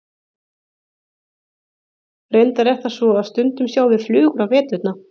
reyndar er það svo að stundum sjáum við flugur á veturna